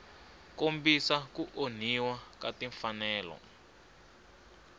kombisa ku onhiwa ka timfanelo